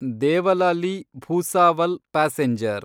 Devlali Bhusawal passenger